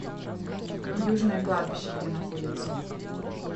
южное кладбище где находится